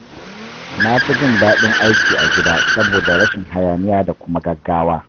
Na fi jin daɗin aiki a gida saboda rashin hayaniya da kuma gaggawa.